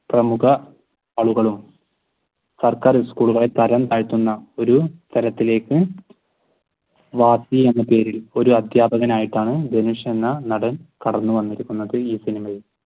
പ്രമുഖ ആളുകളും സർക്കാർ സ്കൂളുകളെ തഴം താഴ്ത്തുന്ന ഒരു തരത്തിലേക്ക് വാത്തി എന്ന പേരിൽ ഒരു അധ്യാപകനായിട്ടാണ് ധനുഷ് എന്ന നടൻ കടന്നുവന്നിരുക്കുന്നത് ഈ സിനിമയിൽ